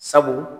Sabu